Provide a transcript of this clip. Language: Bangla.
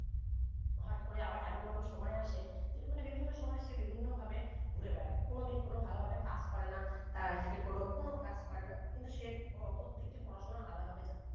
হট করে এমন এমন সময় আসে যে বিভিন্ন সময় সে বিভিন্ন ভাবে ঘুরে বেড়ায় কোন দিন কোন ভালো ভাবে কাজ করে না তার সে কোন কোন class করে না কিন্তু সে প্রত্যেকটি পড়াশোনা আধা ভাবে যানে